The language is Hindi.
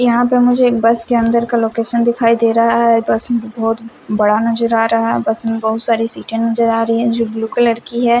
यहाँ पे मुझे एक बस के अन्दर का लोकेशन दिखाई दे रहा है बस बहुत बड़ा नज़र आ रहा है बस में बहुत सारी सीटें नज़र आ रही हैं जो ब्लू कलर की है।